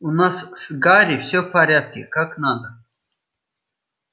у нас с гарри всё в порядке как надо